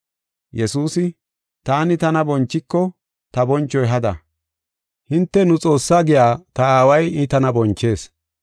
Yesuusi, “Taani tana bonchiko ta bonchoy hada. Hinte, ‘Nu Xoossaa’ giya ta Aaway I tana bonchees.